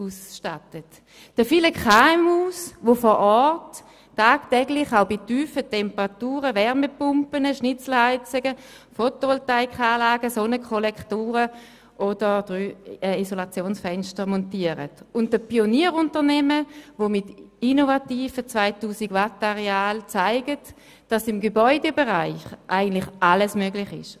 Auch den vielen KMU danke ich, die vor Ort tagtäglich auch bei tiefen Temperaturen Wärmepumpen, Schnitzelheizungen, Photovoltaikanlagen, Sonnenkollektoren und Isolationsfenster montieren, sowie den Pionierunternehmen, die mit innovativen 2000-Watt-Arealen zeigen, dass im Gebäudebereich eigentlich alles möglich ist.